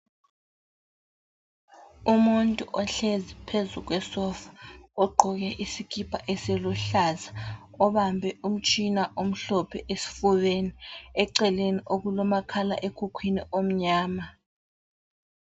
Umuntu ohlezi phezu kwesofa ogqoke isikipa esiluhlaza obambe umtshina omhlophe esifubeni eceleni okulomakhalekhukhwini omnyama.